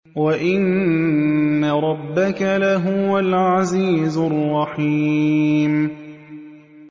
وَإِنَّ رَبَّكَ لَهُوَ الْعَزِيزُ الرَّحِيمُ